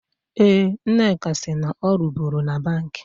Eh, Nneka si na ọ ruburu na Bank.